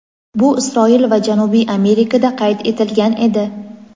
bu Isroil va Janubiy Amerikada qayd etilgan edi.